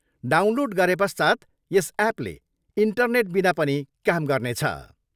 Download गरे पश्चात् यस एपले इन्टरनेटबिना पनि काम गर्नेछ।